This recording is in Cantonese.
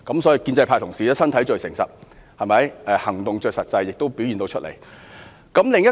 所以，建制派同事的身體最誠實，行動最實際，全都表現出來了。